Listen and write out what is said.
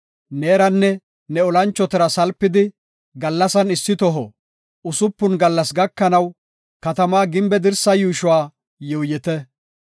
Neeranne ne olanchotara salpidi, gallasan issi toho usupun gallas gakanaw, katamaa gimbe dirsaa yuushuwa yuuyite.